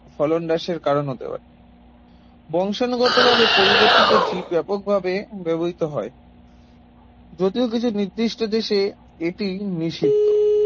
ফলন হ্রাসের কারণ হতে পারে বংশাণুগতভাবে পরিবর্তিত জীব ব্যাপকভাবে ব্যবহৃত হয় যদিও কিছু নির্দিষ্ট দেশে এটি নিষিদ্ধ